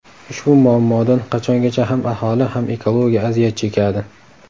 Ushbu muammodan qachongacha ham aholi, ham ekologiya aziyat chekadi?